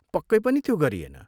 पक्कै पनि त्यो गरिएन।